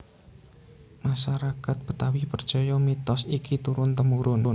Masarakat Betawi percaya mitos iki turun temurun